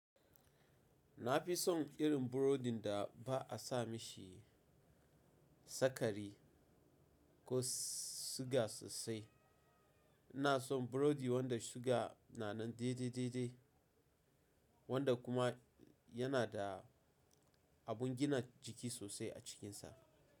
Na fi son irin burodin da ba'a sa mishi sakari ko suga sosai. Ina son burodi wanda suga na nan dai-dai dai-dai wanda kuma yana da abun gina jiki sosai a cikinsa.